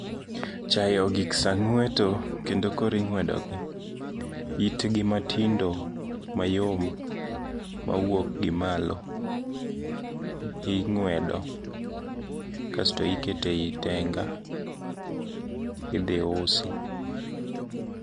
Chaye ogik saa ng'weto kendo koro ing'wedogi. Itgi matindo mayom mawuok gi malo ing'wedo kasto iketo eyi tenga idhi usi.